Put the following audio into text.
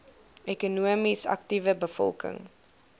ekonomies aktiewe bevolking